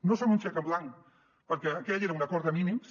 no són un xec en blanc perquè aquell era un acord de mínims